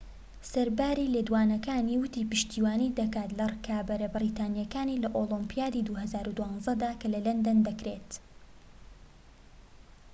سەرباری لێدوانەکانی، وتی پشتیوانی دەکات لە ڕکابەرە بەریتانیەکانی لە ئۆلۆمپیادی ٢٠١٢ دا کە لە لەندەن دەکرێت